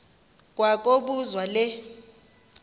kwa kobuzwa le